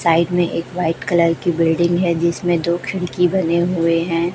Side में एक white colour की बिल्डिंग है जिसमें दो खिडकी बने हुए है।